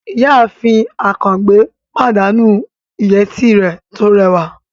Ìyáàfin Àkàngbé pàdánù ìyẹ́tí rẹ̀ tó rẹwà